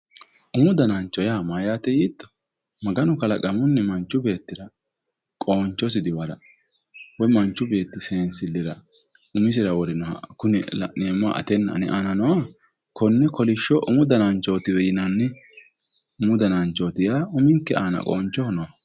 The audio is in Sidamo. umu danancho yaa mayyaate yiitto maganu kalaqamunni manchu beettira qoonchosi diwara woy manchu beetti seensilira umisira worinoha kune la'neemmoha atenna ane aana nooha konne kolishsho umu dananchootiwe yinanni umu dananchooti yaa uminke aana qoonchoho nooho.